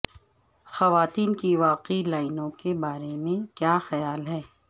خواتین کی واقعی لائنوں کے بارے میں کیا خیال ہے